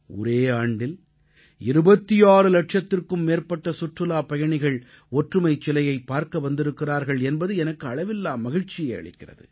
ஒரே ஆண்டில் 26 இலட்சத்திற்கும் மேற்பட்ட சுற்றுலாப் பயணிகள் ஒற்றுமைச் சிலையைப் பார்க்க வந்திருக்கிறார்கள் என்பது எனக்கு அளவில்லா மகிழ்ச்சியை அளிக்கிறது